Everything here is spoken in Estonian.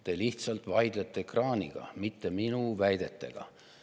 Te lihtsalt vaidlete ekraaniga, mitte minu väidetega.